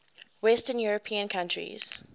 western european countries